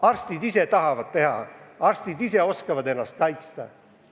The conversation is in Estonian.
Arstid ise tahavad tööd teha, arstid ise oskavad ennast kaitsta.